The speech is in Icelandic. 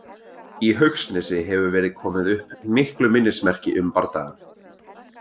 Í Haugsnesi hefur verið komið upp miklu minnismerki um bardagann.